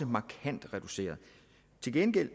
markant reduceret